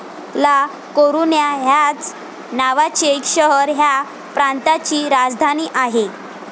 ला कोरुन्या ह्याच नावाचे शहर ह्या प्रांताची राजधानी आहे.